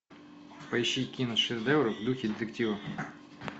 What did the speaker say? поищи киношедевр в духе детектива